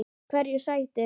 Hverju sætir?